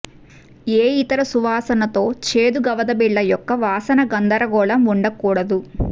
ఏ ఇతర సువాసన తో చేదు గవదబిళ్ళ యొక్క వాసన గందరగోళం ఉండకూడదు